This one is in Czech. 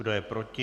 Kdo je proti?